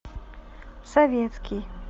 советский